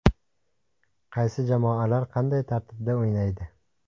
Qaysi jamoalar (qanday tartibda) o‘ynaydi?